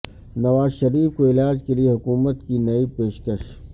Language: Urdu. نواز شریف کو علاج کے لیے حکومت کی نئی پیشکش